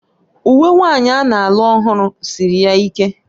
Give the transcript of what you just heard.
Uwe nwanyị a na-alụ ọhụrụ siri ya ike